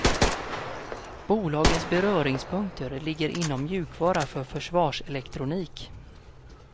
Bolagens beröringspunkter ligger inom mjukvara för försvarselektronik.